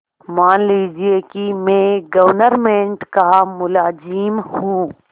मान लीजिए कि मैं गवर्नमेंट का मुलाजिम हूँ